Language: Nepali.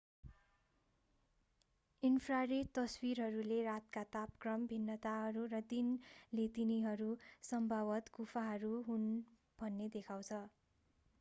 इन्फ्रारेड तस्विरहरूले रातका तापक्रम भिन्नताहरू र दिनले तिनीहरू सम्भावतः गुफाहरू हुन् भन्ने देखाउँछ